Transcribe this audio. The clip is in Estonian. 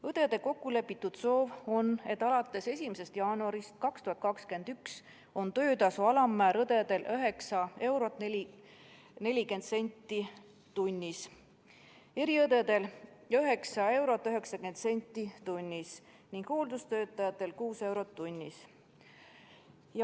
Õdede kokkulepitud soov on, et alates 1. jaanuarist 2021 on töötasu alammäär õdedel 9 eurot 40 senti tunnis, eriõdedel 9 eurot 90 senti tunnis ning hooldustöötajatel 6 eurot tunnis.